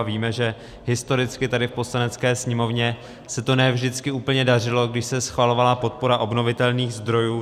A víme, že historicky tady v Poslanecké sněmovně se to ne vždycky úplně dařilo, když se schvalovala podpora obnovitelných zdrojů.